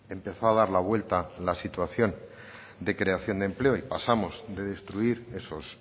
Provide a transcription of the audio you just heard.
empezó a dar la vuelta la situación de creación de empleo y pasamos de destruir esos